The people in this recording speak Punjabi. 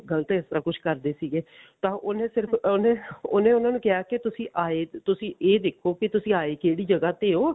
ਗਲਤ ਐਸਾ ਕੁੱਝ ਕਰਦੇ ਸੀਗੇ ਤਾਂ ਉਹਨੇ ਸਿਰਫ ਉਹਨੇ ਉਹਨੇ ਉਹਨਾ ਨੂੰ ਕਿਹਾ ਕਿ ਤੁਸੀਂ ਆਏ ਤੁਸੀਂ ਇਹ ਦੇਖੋ ਤੁਸੀਂ ਆਏ ਕਿਹੜੀ ਜਗ੍ਹਾ ਤੇ ਹੋ